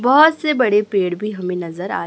बहोत से बड़े पेड़ भी हमें नजर आ--